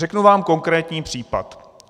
Řeknu vám konkrétní případ.